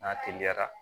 N'a teliyara